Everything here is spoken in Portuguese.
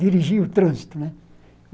dirigia o trânsito né.